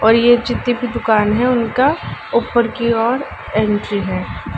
और ये जितनी भी दुकान हैं उनका उपर की ओर एंट्री है।